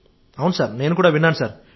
అవును సార్ నేను విన్నాను సార్